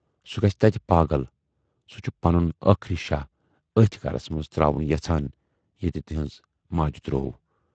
سُہ گژھِ تتہِ پاگل۔ سُہ چھُ پنُن ٲخری شاہ ٲتھۍ گرس منز تراوُن یژھان ییتہِ تِہٕنزِ ماجہِ تروو۔